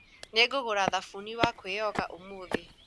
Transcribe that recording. Nĩngũgũra thabuni wa kwĩyoga ũmũthĩ